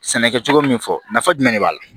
Sɛnɛ kɛcogo min fɔ nafa jumɛn de b'a la